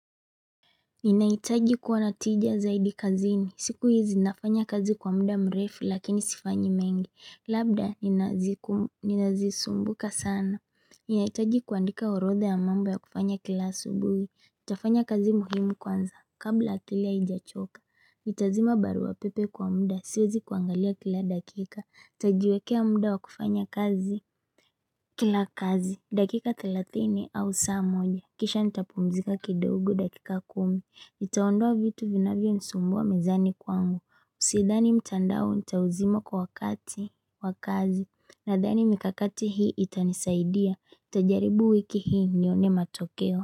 Ninaitaji kuwa na tija zaidi kazini. Siku hizi nafanya kazi kwa muda mrefu lakini sifanyi mengi. Labda ninazisumbuka sana. Ninaitaji kuandika orodha ya mambo ya kufanya kila asubuhi. Nitafanya kazi muhimu kwanza. Kabla akili aijachoka. Nitazima barua pepe kwa muda. Siwezi kuangalia kila dakika. Tajiwekea muda wa kufanya kazi. Kila kazi. Dakika thelatini au saa moja. Kisha nitapumzika kidogo dakika kumi. Itaondoa vitu vinavyo nisumbua mezani kwangu, usidhani mtandao ncha uzima kwa wakati, wakazi, nadhani mikakati hii itanisaidia, nitajaribu wiki hii nyone matokeo.